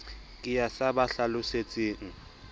ke ya sa ba hlalosetseng